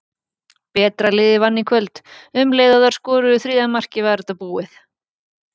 Betra liðið vann í kvöld, um leið og þær skoruðu þriðja markið var þetta búið.